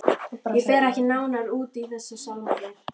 Ég fer ekki nánar út í þessa sálma hér.